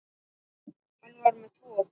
Hann var með tvo.